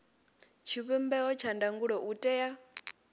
tshivhumbeo tsha ndangulo u tea